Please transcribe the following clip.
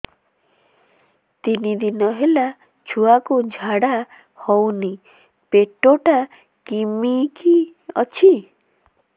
ତିନି ଦିନ ହେଲା ଛୁଆକୁ ଝାଡ଼ା ହଉନି ପେଟ ଟା କିମି କି ଅଛି